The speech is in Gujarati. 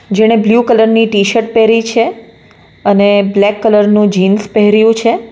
જેણે બ્લુ કલર ની ટી-શર્ટ પહેરી છે અને બ્લેક કલર નું જીન્સ પહેર્યું છે.